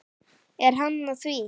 Er hann að því?